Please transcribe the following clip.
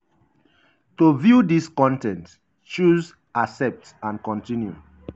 to view dis con ten t choose 'accept and continue'.